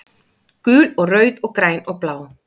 Gul og rauð og græn og blá